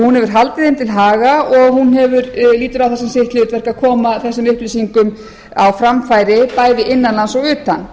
hún hefur haldið þeim til haga og hún lítur á það sem sitt hlutverk að koma þessum upplýsingum á framfæri bæði innan lands og utan